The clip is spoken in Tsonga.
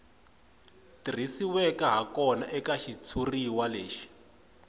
tirhisiweke hakona eka xitshuriwa lexi